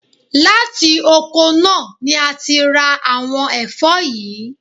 Láti oko náà ni a ti ń ra àwon ẹ̀fọ́ yìí.